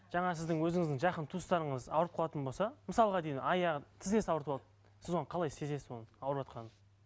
жаңағы сіздің өзіңіздің жақын туыстарыңыз ауырып қалатын болса мысалға деймін аяғы тізесін ауыртып алды сіз оны қалай сезесіз оның ауырватқанын